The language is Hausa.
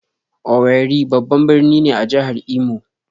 "Owerri" babban birni ne a jihar Imo